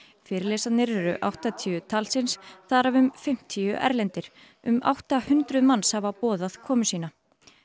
fyrirlesararnir eru áttatíu talsins þar af fimmtíu erlendir um átta hundruð manns hafa boðað komu sína